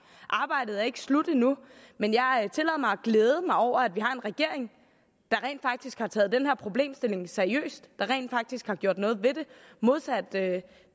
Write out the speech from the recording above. arbejdet er ikke slut endnu men jeg tillader mig at glæde mig over at vi har en regering der rent faktisk har taget den her problemstilling seriøst og som rent faktisk har gjort noget ved det modsat